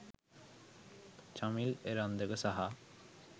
චමිල් එරන්දක සහ